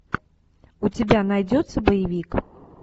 у тебя найдется боевик